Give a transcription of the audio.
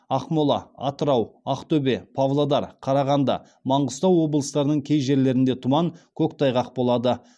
ақмола атырау ақтөбе павлодар қарағанды маңғыстау облыстарының кей жерлерінде тұман көктайғақ болады